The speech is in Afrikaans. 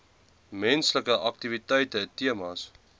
menslike aktiwiteite temas